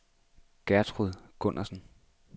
Gertrud Gundersen